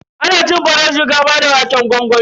Ana cin farar shinkafa da waƙen gwangwami.